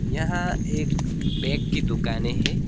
यहां एक बैग की दुकाने है।